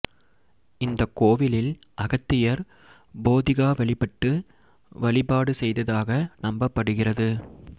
இந்த கோவிலில் அகத்தியர் போதிகா வழிபட்டு வழிபாடு செய்ததாக நம்பப்படுகிறது